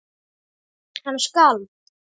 Hann skalf.